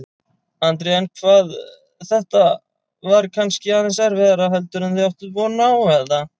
Andri: En hvað, þetta var kannski aðeins erfiðara heldur en þið áttuð von á, eða?